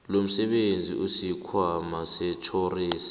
lomsebenzi isikhwama setjhorensi